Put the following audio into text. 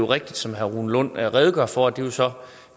rigtigt som herre rune lund redegør for at det så er